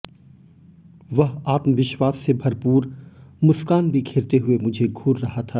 वह आत्मविश्वास से भरपूर मुस्कान बिखेरते हुए मुझे घूर रहा था